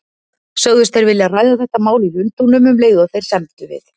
Sögðust þeir vilja ræða þetta mál í Lundúnum, um leið og þeir semdu við